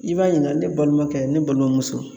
I b'a ɲininga ne balimamukɛ ne balimamuso